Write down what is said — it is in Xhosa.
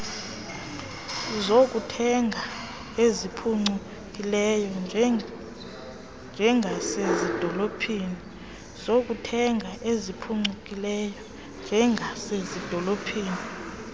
zokuthenga eziphucukileyo njengasezidolophini